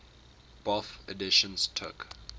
bofh editions took